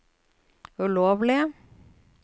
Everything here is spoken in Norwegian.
ulovlige